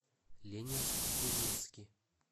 ленинск кузнецкий